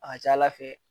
A ka ca ala fɛ